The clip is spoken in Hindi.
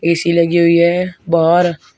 ए_सी लगी हुई है बाहर--